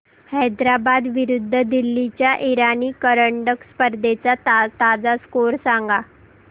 हैदराबाद विरुद्ध दिल्ली च्या इराणी करंडक स्पर्धेचा ताजा स्कोअर सांगा